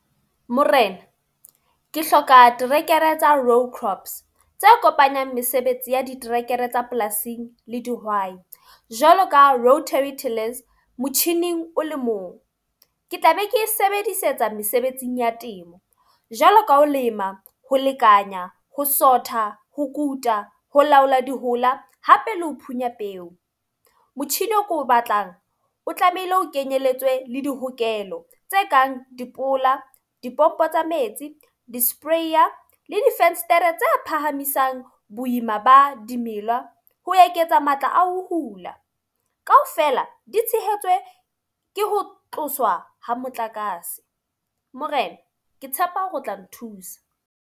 Morena, ke hloka terekere tsa road crops tse kopanyang mesebetsi ya diterekere tsa polasing le dihwai. Jwalo ka rotary telers motjhining o le mong. Ke tla be ke e sebedisetsa mesebetsing ya temo. Jwalo ka ho lema, hio lekanya, ho sotha, ho kuta, ho laola di hola hape le ho phunya peo. Motjhini o ko o batlang o tlamehile o kenyelletswe le dihokelo tse kang dipola, dipompo tsa metsi, di-sprayer le difenstere tse phahamisang boima ba dimela ho eketsa matla a ho hula. Ka ofela di tshehetswe ke ho tloswa ha motlakase. Morena ke tshepa hore o tla nthusa.